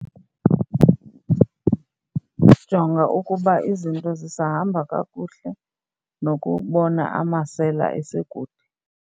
Jonga ukuba izinto zisahamba kakuhle nokubona amasela esekude.